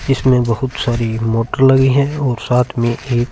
इसमें बहोत सारी मोटले भी है और साथ में एक--